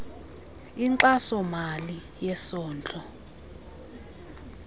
inkxaso mali yesondlo